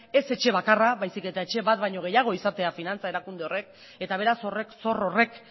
ez etxe bakarra baizik eta etxe bat baino gehiago izatea finantza erakunde horrek eta beraz horrek zor horrek